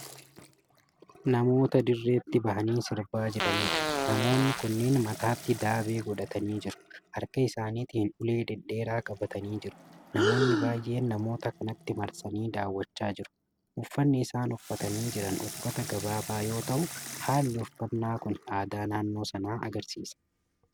Namoota dirreetti bahanii sirbaa jiranidha. namoonni kunniin mataatti daabee godhatanii jiru. harka isaanitiin ulee dhedheeraa qabatani jiru. namoonni baay'een namoota kanatti marsanii daaw'achaa jiru. uffanni isaan uffatanii Jiran uffata gaggabaabaa yoo ta'u haalli uffanna Kuni aadaa naannoo sanaa agarsiisa.